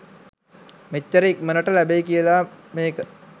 මෙච්චර ඉක්මනට ලැබෙයි කියලා මේක.